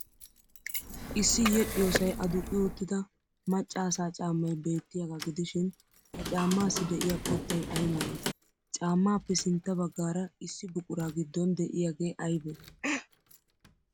Issi yedhdhiyoosay aduqqi uttida macca asaa caammay beettiyaagaa gidishin ha caammaassi de'iya qottay ay malee? Caammaappe sintta baggaara issi buquraa giddon de'iyaagee aybee?